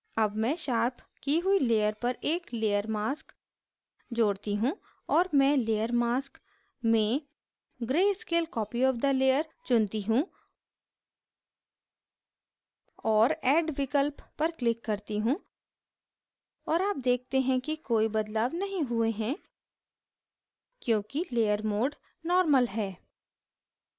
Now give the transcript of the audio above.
add मैं sharpen की हुई layer पर एक layer mask layer mask जोड़ती हूँ और मैं layer mask layer mask में gray scale copy of the layer चुनती हूँ और add विकल्प पर click करती हूँ और आप देखते हैं कि कोई बदलाव नहीं हुए हैं क्योंकि layer mode layer mode normal normal है